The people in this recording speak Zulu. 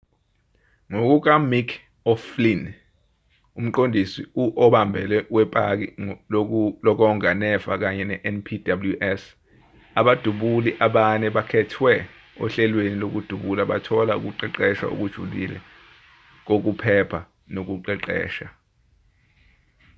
ngokukamick o'flynn umqondisi obambele wepaki lokonga nefa kanye nenpws abadubuli abane abakhethwe ohlelweni lokudubula bathola ukuqeqeshwa okujulile kokuphepha nokuqeqesha